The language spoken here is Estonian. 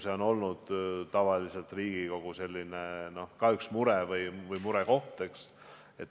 See on tavaliselt olnud Riigikogu üks murekoht.